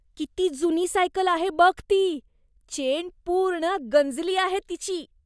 किती जुनी सायकल आहे बघ ती, चेन पूर्ण गंजली आहे तिची.